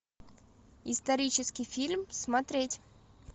исторический фильм смотреть